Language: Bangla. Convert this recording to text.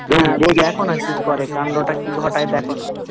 দেখো না কি করে কান্ডটা কি ঘটায় দেখো না